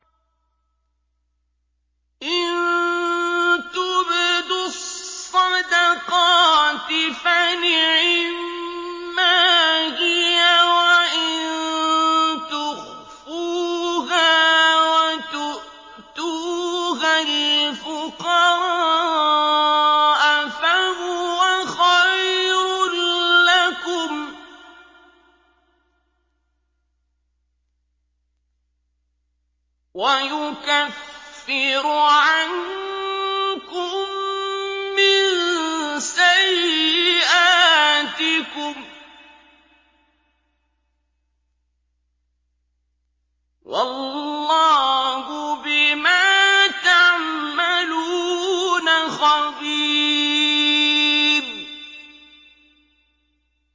إِن تُبْدُوا الصَّدَقَاتِ فَنِعِمَّا هِيَ ۖ وَإِن تُخْفُوهَا وَتُؤْتُوهَا الْفُقَرَاءَ فَهُوَ خَيْرٌ لَّكُمْ ۚ وَيُكَفِّرُ عَنكُم مِّن سَيِّئَاتِكُمْ ۗ وَاللَّهُ بِمَا تَعْمَلُونَ خَبِيرٌ